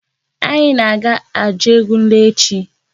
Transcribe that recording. Anyị na-aga Ajugunle echi.